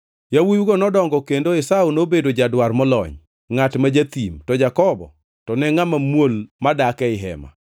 Yawuowigo nodongo, kendo Esau nobedo jadwar molony, ngʼat ma jathim, to Jakobo to ne ngʼama muol madak ei hema.